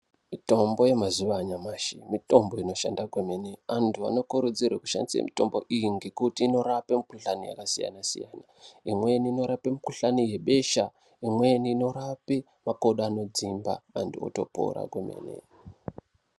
Mitombo yemazuva anyamashi, mitombo inoshanda kwemene. Antu anokurudzirwe kushandise mitombo iyi ngekuti inorape mikhuhlani yakasiyana siyana imweni inorape mikhuhlani yebesha, imweni inorape makodo anodzimba antu otopora komene.